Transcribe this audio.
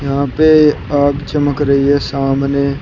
यहां पे आंख चमक रही है सामने--